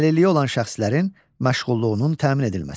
Əlilliyi olan şəxslərin məşğulluğunun təmin edilməsi.